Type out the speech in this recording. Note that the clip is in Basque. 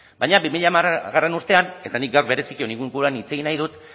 baina bi mila hamargarrena urtean eta nik gaur bereziki honen inguruan hitz egin nahi dut